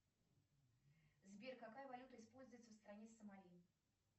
сбер какая валюта используется в стране сомали